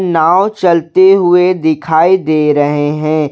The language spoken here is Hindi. नाव चलते हुए दिखाई दे रहे हैं।